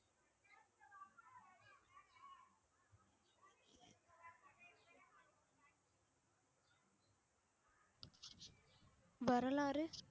வரலாறு